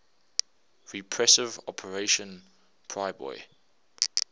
repressive operation priboi